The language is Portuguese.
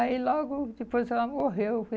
Aí logo, depois ela morreu.